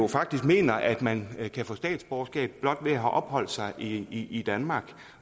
faktisk mener at man kan få statsborgerskab blot ved at have opholdt sig i danmark